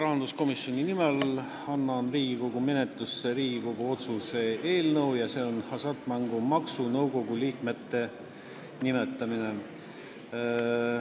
Annan rahanduskomisjoni nimel Riigikogu menetlusse Riigikogu otsuse eelnõu ja see on "Hasartmängumaksu Nõukogu liikmete nimetamine".